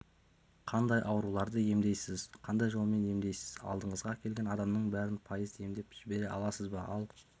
қандай ауруларды емдейсіз қандай жолмен емдейсіз алдыңызға келген адамның бәрін пайыз емдеп жібере аласыз ба ал